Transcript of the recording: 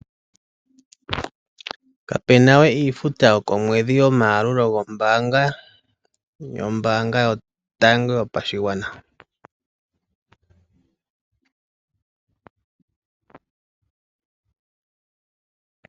Kapena we iifuta yokomwedhi yomayalulo gombaanga yotango yopashigwana.